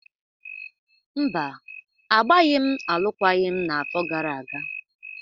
Mba, agbaghị m alụkwaghịm n'afọ gara aga.